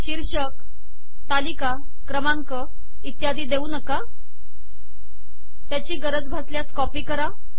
शीर्षक तालिका क्रमांक इत्यादी देऊ नका त्याची गरज भासल्यास कॉपी करा